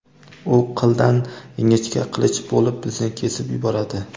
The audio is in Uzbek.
u qildan ingichka qilich bo‘lib bizni kesib yuboradi.